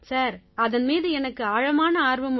sir அதன் மீது எனக்கு ஆழமான ஆர்வம் உண்டு